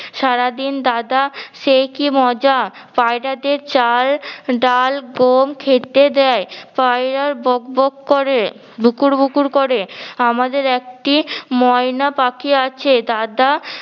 সারাদিন দাদা সে কি মজা পায়রাদের চাল ডাল গম খেতে দে। পায়রার বক বক করে বুকুর বুকুর করে। আমাদের একটি ময়না পাখি আছে, দাদা